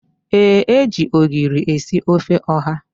Ee, e ji ogiri esi ofe ọha